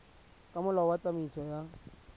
ka molao wa tsamaiso ya